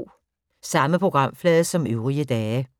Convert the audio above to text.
Samme programflade som øvrige dage